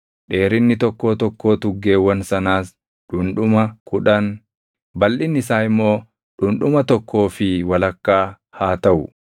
Dheerinni tokkoo tokkoo tuggeewwan sanaas dhundhuma kudhan, balʼinni isaa immoo dhundhuma tokkoo fi walakkaa haa taʼu;